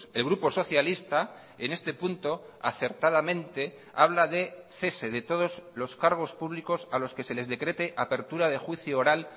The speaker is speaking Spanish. el grupo socialista en este punto acertadamente habla de cese de todos los cargos públicos a los que se les decrete apertura de juicio oral